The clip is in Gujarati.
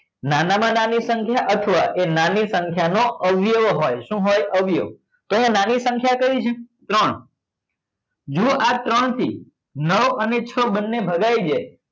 નાના માં નાની સંખ્યા અથવા એ નાની સંખ્યા નો અવયવો હોય શું હોય અવયવો તો કે નાનની સંખ્યા કઈ છે ત્રણ જુઓ આ ત્રણ થી નવ અને છ બંને ભગાય જાય